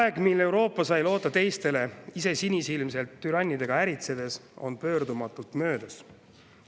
Aeg, mil Euroopa sai loota teistele, ise sinisilmselt türannidega äritsedes, on pöördumatult möödas.